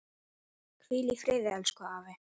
Hvíl í friði elsku afi.